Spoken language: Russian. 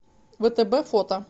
втб фото